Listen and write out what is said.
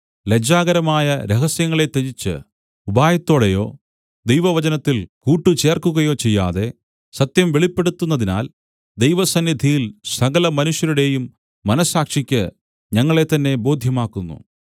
ലജ്ജാകരമായ രഹസ്യങ്ങളെ ത്യജിച്ച് ഉപായത്തോടെയോ ദൈവവചനത്തിൽ കൂട്ട് ചേർക്കുകയോ ചെയ്യാതെ സത്യം വെളിപ്പെടുത്തുന്നതിനാൽ ദൈവസന്നിധിയിൽ സകലമനുഷ്യരുടെയും മനസ്സാക്ഷിക്ക് ഞങ്ങളെത്തന്നെ ബോദ്ധ്യമാക്കുന്നു